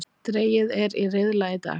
Dregið er í riðla í dag